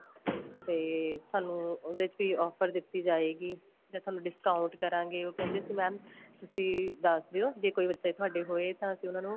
ਤੇ ਤੁਹਾਨੂੰ ਉਹਦੇ ਚ ਵੀ offer ਦਿੱਤੀ ਜਾਏਗੀ ਜਾਂ ਤੁਹਾਨੂੰ discount ਕਰਾਂਗੇ ਉਹ ਕਹਿੰਦੇ ਸੀ mam ਬੀ ਦੱਸ ਦਿਉ ਜੇ ਕੋਈ ਤੁਹਾਡੇ ਬੱਚੇ ਹੋਏ ਤਾਂ ਅਸੀਂ ਉਹਨਾ ਨੂੰ